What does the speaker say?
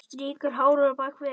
Strýkur hárinu bak við eyrað.